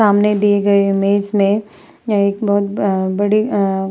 सामने दिए गए इमेज में एक बोहोत बड़ा बड़ी अ --